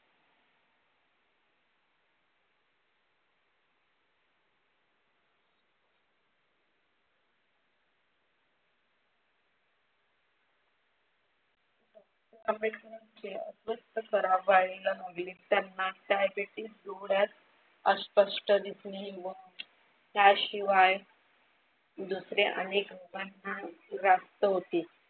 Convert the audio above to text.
आंबेडकरांच्या daibitees, डोळ्यात अस्पष्ट दिसणे त्याशिवाय दुसरे अनेक व्याप्त होती.